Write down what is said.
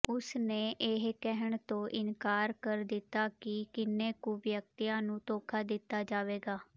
ਉਸਨੇ ਇਹ ਕਹਿਣ ਤੋਂ ਇਨਕਾਰ ਕਰ ਦਿੱਤਾ ਕਿ ਕਿੰਨੇ ਕੁ ਵਿਅਕਤੀਆਂ ਨੂੰ ਧੋਖਾ ਦਿੱਤਾ ਜਾਵੇਗਾ